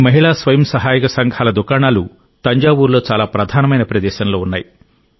ఈ మహిళా స్వయం సహాయక సంఘాల దుకాణాలు తంజావూరులో చాలా ప్రధానమైన ప్రదేశంలో ఉన్నాయి